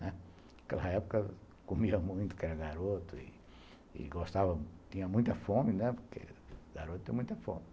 Naquela época comiam muito, porque era garoto e gostava, tinha muita fome, né, porque garoto tem muita fome.